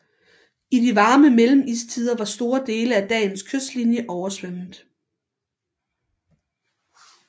I de varme mellemistider var store dele af dagens kystlinje oversvømmet